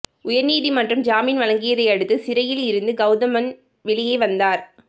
உயர்நீதிமன்றம் ஜாமின் வழங்கியதை அடுத்து சிறையில் இருந்து கவுதமன் வெளியே வந்தார்